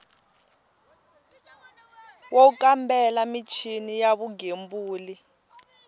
wo kambela michini ya vugembuli